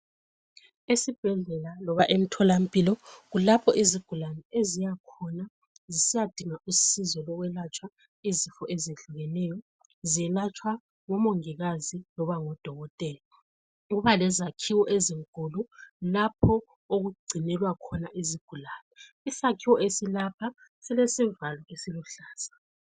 Esibhedlela kumbe emtholampilo kulapho izigulane eziyakhona zisiyadinga usizo lokwelatshwa izifo ezehlukeneyo. Zelatshwa ngomongikazi loba ngodokotela. Kuba lezakhiwo ezinkulu lapho okugcinelwa khona izigulane. Isakhiwo esilapha silesivalo esiluhlaza.